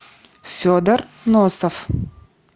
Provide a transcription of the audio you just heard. федор носов